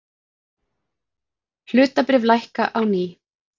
Hlutabréf lækka á ný